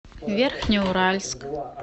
верхнеуральск